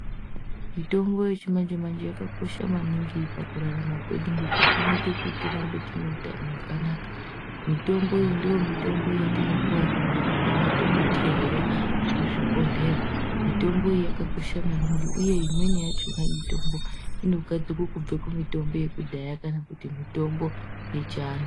Mitombo yechimanje manje yakakosha maningi pakurarama kwedu ngekuti inoita kuti tirambe tine hutano hwakanaka mitombo iyi ndomitombo yatinopuwa nemadhokodheya kuzvibhohleya mitombo iyi yakakosha maningi uye imweni yachona inogadzirwa kubva kumitombo yekudhaya kana mitombo yechianhu.